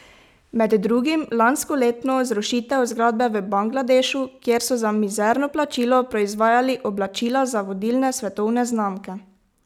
Med drugim lanskoletno zrušitev zgradbe v Bangladešu, kjer so za mizerno plačilo proizvajali oblačila za vodilne svetove znamke.